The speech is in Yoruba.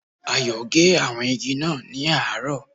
Ayò gé àwọn igi kan ní àárò